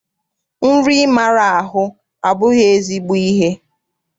Nri ịmara ahụ abụghị ezigbo ihe.